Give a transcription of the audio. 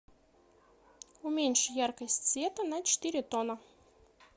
уменьши яркость света на четыре тона